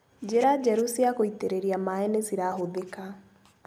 Njĩra njerũ cia gũitĩrĩria maĩ nĩcirahũthĩka.